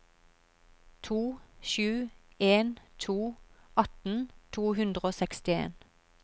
to sju en to atten to hundre og sekstien